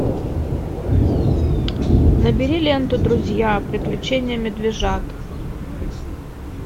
набери ленту друзья приключения медвежат